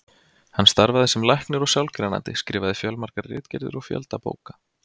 Hann starfaði sem læknir og sálgreinandi, skrifaði fjölmargar ritgerðir og fjölda bóka.